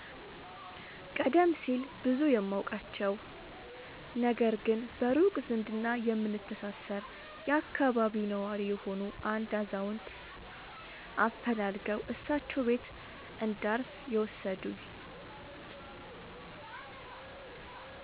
ቀደም ሲል ብዙም የማውቃቸው፣ ነገር ግን በሩቅ ዝምድና የምንተሳሰር የአካባቢው ነዋሪ የሆኑ አንድ አዛውንት አፈላልገው እሳቸው ቤት እንዳርፍ የወሰዱኝ።